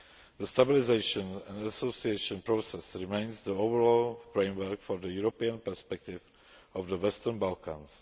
The Stabilisation and Association Process remains the overall framework for the European perspective of the Western Balkans.